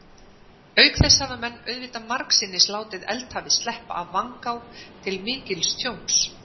Auk þess hafa menn auðvitað margsinnis látið eldhafið sleppa af vangá, til mikils tjóns.